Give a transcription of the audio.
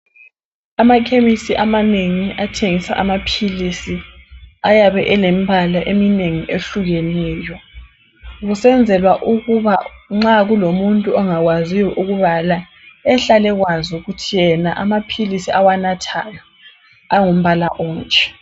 Amakhemisi amanengi athengisa amaphilisi ayabe elembala eminengi etshiyeneyo. Kusenzelwa ukuba nxa kulomuntu ongakwaziyo ukubala ehlalekwazi ukuthi yena amaphilisi awanathayo angumbala onje.